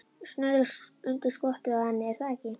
Snuðra undir skottið á henni, er það ekki?